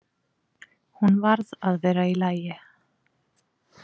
Hún varð að vera í lagi.